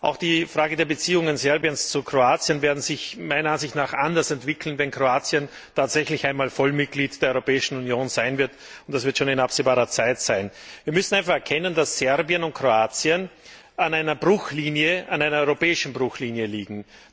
Auch die Frage der Beziehungen Serbiens zu Kroatien wird sich meiner Ansicht nach anders entwickeln, wenn Kroatien tatsächlich einmal Vollmitglied der Europäischen Union sein wird, und das wird schon in absehbarer Zeit sein. Wir müssen einfach erkennen, dass Serbien und Kroatien an einer europäischen Bruchlinie liegen.